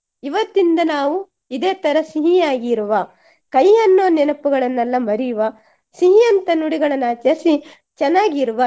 ಇವತ್ತಿಂದ ನಾವು ಇದೆ ತರ ಸಿಹಿ ಆಗಿರುವ ಕಹಿ ಅನ್ನುವ ನೆನಪುಗಳನ್ನೆಲ್ಲ ಮರಿಯುವ ಸಿಹಿ ಅಂತ ನುಡಿಗಳನ್ನ ಆಚರಿಸಿ ಚೆನ್ನಾಗಿರುವ